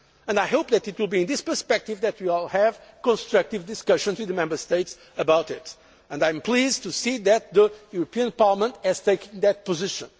I hope that it will be in this perspective that we will have constructive discussions with the Member States about it, and I am pleased to see that the European Parliament has taken that position.